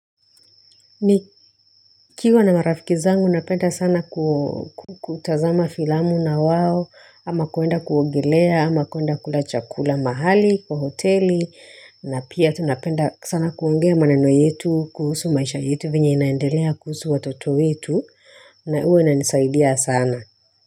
Nikiwa na marafiki zangu, napenda sana kutazama filamu na wao, ama kuenda kuongelea, ama kuenda kula chakula mahali, kwa hoteli, na pia tunapenda sana kuongea maneno yetu, kuhusu maisha yetu venye inaendelea kuhusu watoto yetu, na huwa inanisaidia sana.